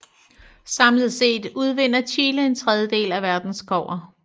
Samlet set udvinder Chile en tredjedel af verdens kobber